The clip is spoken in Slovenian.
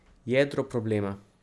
Jedro problema.